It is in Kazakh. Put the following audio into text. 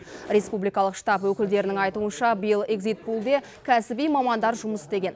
республикалық штаб өкілдерінің айтуынша биыл егзит пулде кәсіби мамандар жұмыс істеген